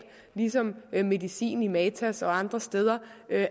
ligesom medicin i matas og andre steder